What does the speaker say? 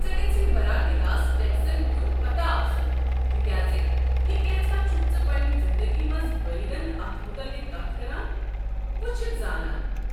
ژےٚ گژھی براہ راست ٹیكسن ہُنٛد پتاہ آسُن تہ كیازِ یہِ كینژھا چھُكھ ژٕ پنٛنہِ زِندگی منٛز بٲلغن اتھ مُتعلق كتھ كران وٕچھِتھ زانان۔